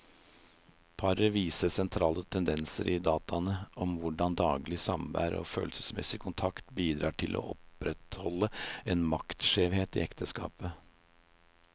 Paret viser sentrale tendenser i dataene om hvordan daglig samvær og følelsesmessig kontakt bidrar til å opprettholde en maktskjevhet i ekteskapet.